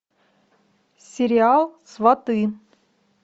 сериал сваты